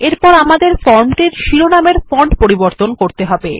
এরপর আমাদের ফরমটির শিরনামের ফন্ট পরিবর্তন করা যাক